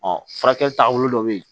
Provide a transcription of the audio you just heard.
Ɔ furakɛli taabolo dɔ bɛ yen